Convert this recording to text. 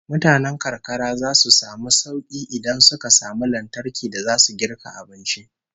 Mutanen karkara zasu samu sauki idan suka samu lantarki da zasu girka abinci